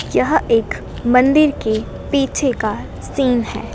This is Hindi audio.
यह एक मंदिर के पीछे का सीन है।